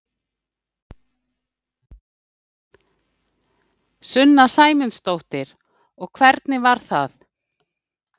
Sunna Sæmundsdóttir: Og hvernig var það?